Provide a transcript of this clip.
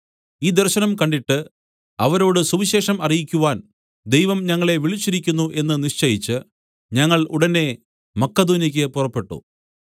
ഈ ദർശനം കണ്ടിട്ട് അവരോട് സുവിശേഷം അറിയിക്കുവാൻ ദൈവം ഞങ്ങളെ വിളിച്ചിരിക്കുന്നു എന്ന് നിശ്ചയിച്ച് ഞങ്ങൾ ഉടനെ മക്കെദോന്യയ്ക്ക് പുറപ്പെട്ടു